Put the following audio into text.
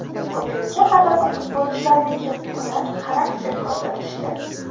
Bugungi g‘alaba futbolchilarniki, ular xarakter ko‘rsatishdi.